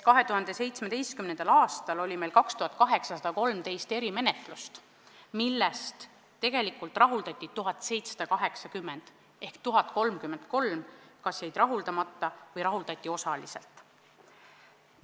2017. aastal oli 2813 erimenetlust, millest rahuldati 1780 ehk 1033 kas jäid rahuldamata või rahuldati osaliselt.